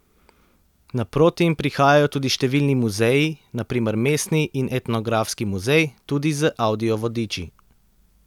Naproti jim prihajajo tudi številni muzeji, na primer mestni in etnografski muzej, tudi z avdio vodiči.